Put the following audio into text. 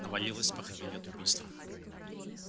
навалилось похмелье от убийства